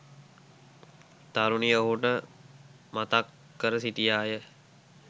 තරුණිය ඔහුට මතක් කර සිටියා ය.